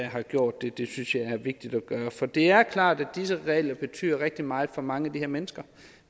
har gjort det det synes jeg er vigtigt at gøre for det er klart at disse regler betyder rigtig meget for mange af de her mennesker